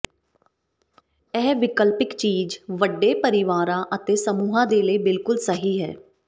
ਇਹ ਵਿਕਲਪਿਕ ਚੀਜ਼ ਵੱਡੇ ਪਰਿਵਾਰਾਂ ਅਤੇ ਸਮੂਹਾਂ ਦੇ ਲਈ ਬਿਲਕੁਲ ਸਹੀ ਹੈ